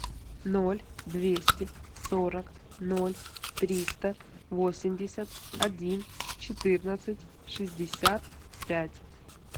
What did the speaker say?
ноль двести сорок ноль триста восемьдесят один четырнадцать шестьдесят пять